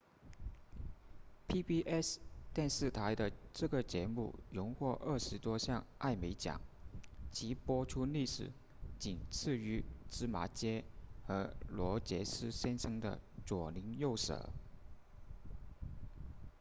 pbs 电视台的这个节目荣获二十多项艾美奖其播出历史仅次于芝麻街和罗杰斯先生的左邻右舍